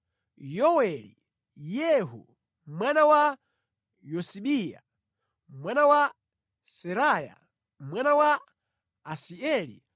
Yoweli, Yehu mwana wa Yosibiya, mwana wa Seraya, mwana wa Asieli,